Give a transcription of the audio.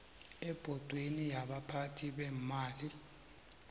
ebhodweni yabaphathi beemali